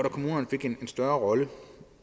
at kommunerne fik en større rolle